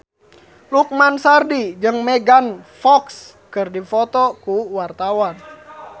Lukman Sardi jeung Megan Fox keur dipoto ku wartawan